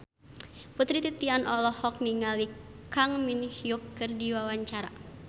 Putri Titian olohok ningali Kang Min Hyuk keur diwawancara